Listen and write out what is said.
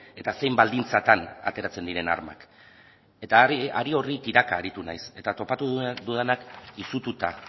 eta zein baldintzatan ateratzen diren armak eta ari horri tiraka aritu naiz eta topatu dudanak izututa